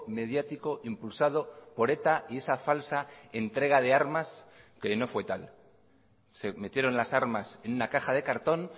mediático impulsado por eta y esa falsa entrega de armas que no fue tal se metieron las armas en una caja de cartón